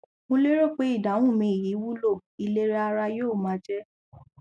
mo lérò pé ìdáhùn mi yìí wúlò ìlera ara yóò máa jẹ